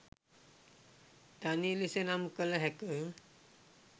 ධනය ලෙස නම් කළ හැක.